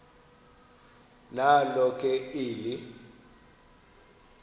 nalo ke eli